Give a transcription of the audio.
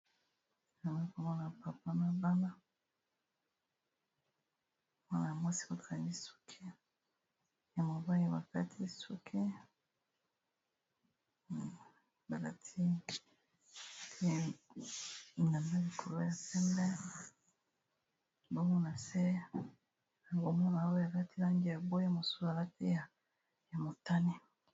Nayai komona papa na bana mwana ya mwasi bakangiye suke ya mobali bakati suke balati bilanba na likolo ya pembe bongo na se yango komona oyo alati Lupe ya langi ya bwee mosusu alati ya motane